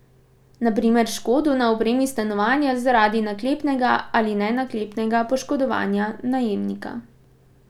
Na primer škodo na opremi stanovanja zaradi naklepnega ali nenaklepnega poškodovanja najemnika.